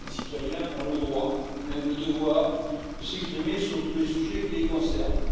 Les citoyens ont le droit et même le devoir de s'exprimer sur tous les sujets qui les concernent.